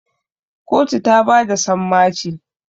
kotu ta bada sammaci